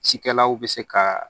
Cikɛlaw be se ka